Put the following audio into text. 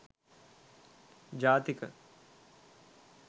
jathika